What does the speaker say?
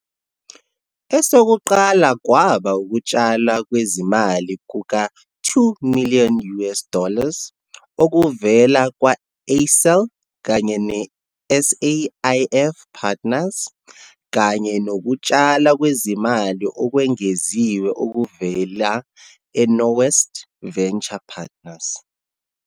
Esokuqala kwaba ukutshalwa kwezimali kuka-2 million US dollars okuvela kwa-Accel kanye ne-SAIF Partners, kanye nokutshalwa kwezimali okwengeziwe okuvela e-Nowest Venture Partners.